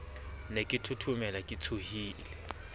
ne ke thothomela ke tshohile